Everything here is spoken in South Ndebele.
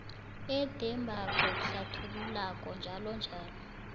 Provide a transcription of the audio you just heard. edembako hlathululako njll